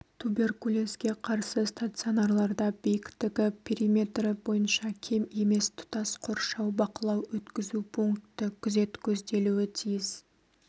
туберкулезге қарсы стационарларда биіктігі периметрі бойынша кем емес тұтас қоршау бақылау-өткізу пункті күзет көзделуі тиіс